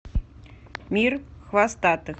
мир хвостатых